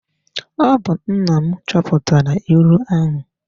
Ọ bụ nna m chọpụtara ịlụ ahụ.